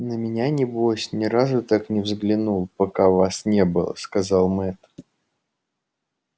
на меня небось ни разу так не взглянул пока вас не было сказал мэтт